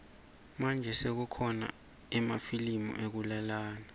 manje sekukhona emafilimu ekulalana